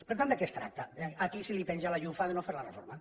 per tant de què es tracta de a qui se li penja la llufa de no fer la reforma